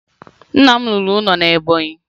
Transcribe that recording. Nna m rụrụ ụlọ na Ebọnyị